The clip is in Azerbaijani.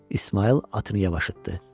İsmayıl atını yavaş etdi.